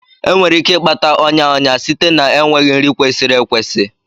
Enwere ike ịkpata ọnya ọnya site na enweghị nri kwesịrị ekwesị.